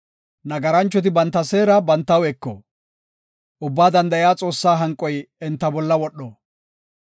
Nagaranchoti banta seera bantaw eko; Ubbaa Danda7iya Xoossaa hanqoy enta bolla wodho.